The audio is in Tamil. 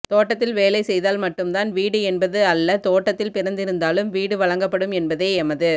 தோட்டத்தில் வேலைசெய்தால் மட்டும்தான் வீடு என்பது அல்ல தோட்டத்தில் பிறந்திருந்தாலும் வீடு வழங்கப்படும் என்பதே எமது